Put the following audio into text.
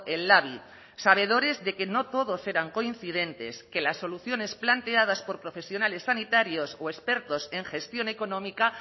el labi sabedores de que no todos eran coincidentes que las soluciones planteadas por profesionales sanitarios o expertos en gestión económica